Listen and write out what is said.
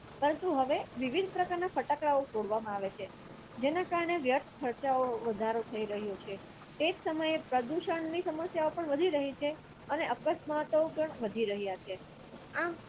પરંતુ હવે વિવિધ પ્રકારના ફટાકડા ફોડવામાં જેના કારણે વ્યર્થ ખર્ચાઓ વધારો થઈ રહ્યો છે તેજ સમય પ્રદૂષણની સમસ્યાઓ પણ વધી રહી છે અને અકસ્માતો પણ વધી રહ્યા છે આહ